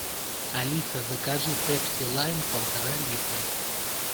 алиса закажи пепси лайм полтора литра